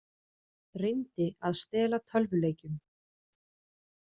Reyndi að stela tölvuleikjum